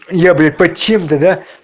я блять под чем-то да